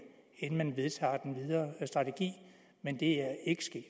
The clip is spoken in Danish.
inden man vedtager den videre strategi men det er ikke sket